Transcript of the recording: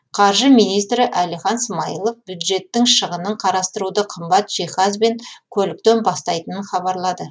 қаржы министрі әлихан смайылов бюджеттің шығынын қарастыруды қымбат жиһаз бен көліктен бастайтынын хабарлады